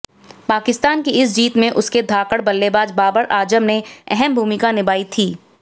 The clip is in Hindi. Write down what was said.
पाकिस्तान की इस जीत में उसके धाकड़ बल्लेबाज बाबर आजम ने अहम भूमिका निभाई थी